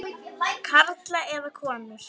Karla eða konur.